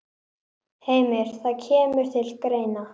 Heimir: Það kemur til greina?